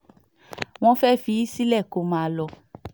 wọ́n fẹ́ẹ́ fi í sílẹ̀ kó máa lọ